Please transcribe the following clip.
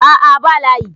a' a ba layi